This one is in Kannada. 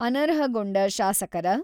ಅನರ್ಹಗೊಂಡ ಶಾಸಕರ